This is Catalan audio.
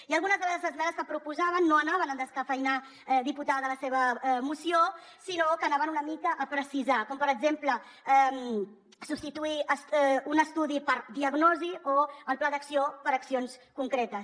i algunes de les esmenes que proposàvem no anaven a descafeïnar diputada la seva moció sinó que anaven una mica a precisar com per exemple substituir un estudi per diagnosi o el pla d’acció per accions concretes